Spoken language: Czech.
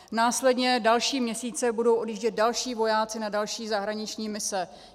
Následní další měsíce budou odjíždět další vojáci na další zahraniční mise.